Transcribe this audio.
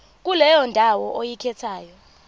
kuleyo ndawo oyikhethayo